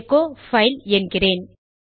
echo file என்கிறேன்